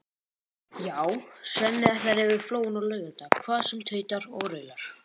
Já, Svenni ætlar yfir Flóann á laugardag hvað sem tautar og raular.